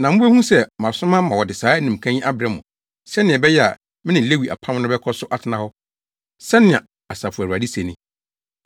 Na mubehu sɛ, masoma ma wɔde saa animka yi abrɛ mo sɛnea ɛbɛyɛ a me ne Lewi apam no bɛkɔ so atena hɔ. Sɛnea Asafo Awurade se ni.